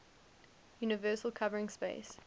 universal covering space